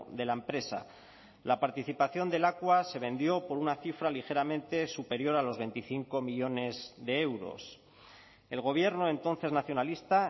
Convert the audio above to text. de la empresa la participación de lakua se vendió por una cifra ligeramente superior a los veinticinco millónes de euros el gobierno entonces nacionalista